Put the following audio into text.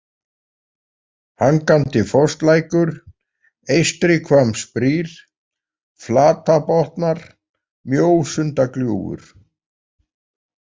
Hangandifosslækur, Eystrihvammsbrýr, Flatabotnar, Mjósundagljúfur